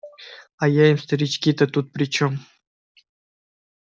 а я им старички-то тут при чём